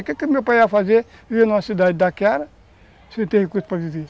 numa cidade daquela, sem ter recursos para viver?